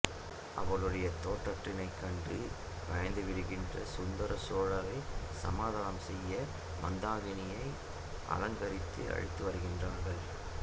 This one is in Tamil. அவளுடைய தோற்றத்தினைக் கண்டு பயந்துவிடுகின்ற சுந்தர சோழரைச் சமாதானம் செய்ய மந்தாகினியை அலங்கரித்து அழைத்துவருகிறார்கள்